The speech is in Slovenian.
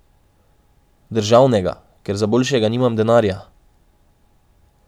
Državnega, ker za boljšega nimam denarja.